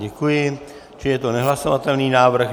Děkuji, čili je to nehlasovatelný návrh.